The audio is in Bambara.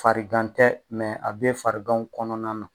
Farigan tɛ a bɛ fariganw kɔnɔna na.